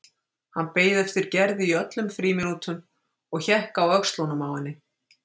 Hann beið eftir Gerði í öllum frímínútum og hékk á öxlunum á henni.